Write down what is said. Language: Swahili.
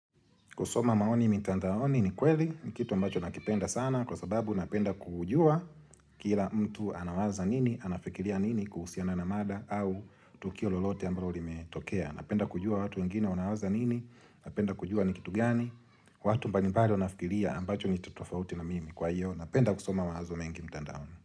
Kusoma maoni mitandaoni ni kweli, ni kitu ambacho nakipenda sana, kwa sababu napenda kujua kila mtu anawaza nini, anafikiria nini kuhusiana na mada au tukio lolote ambalo limetokea. Napenda kujua watu wengine wanawaza nini, napenda kujua ni kitu gani, watu mbalimbali wanafikiria ambacho ni tofauti na mimi kwa hiyo. Napenda kusoma mawazo mengi mtandaoni.